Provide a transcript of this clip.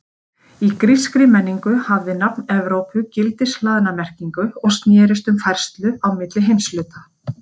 Í grískri menningu hafði nafn Evrópu gildishlaðna merkingu og snerist um færslu á milli heimshluta.